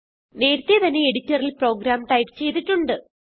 നേരത്തെ തന്നെ എഡിറ്ററിൽ പ്രോഗ്രാം ടൈപ്പ് ചെയ്തിട്ടുണ്ട്